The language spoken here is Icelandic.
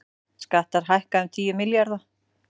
Skattar hækka um tíu milljarða